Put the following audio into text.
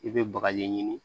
I bɛ bagaji ɲini